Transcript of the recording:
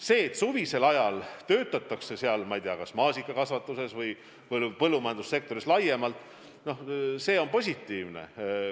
See, et suvisel ajal töötatakse kas maasikakasvatuses või põllumajandussektoris laiemalt, on positiivne.